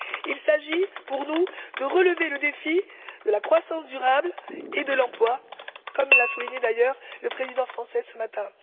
Il s'agit, pour nous, de relever le défi de la croissance durable et de l'emploi, comme l'a souligné d'ailleurs le Président français ce matin.